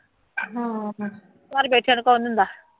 ਹਾਂ ਫੇਰ ਘਰ ਬੈਠਿਆਂ ਨੂੰ ਕੌਣ ਦਿੰਦਾ